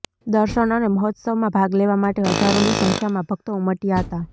દર્શન અને મહોત્સવમાં ભાગ લેવા માટે હજારોની સંખ્યામાં ભક્તો ઉમટ્યા હતા